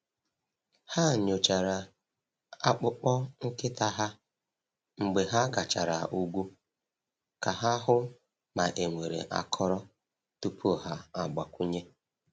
Ha nyochara akpụkpọ nkịta ha mgbe ha gachara ugwu ka ha hụ ma e nwere akọrọ tupu ha agbakwunye.